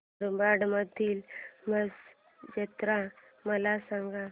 मुरबाड मधील म्हसा जत्रा मला सांग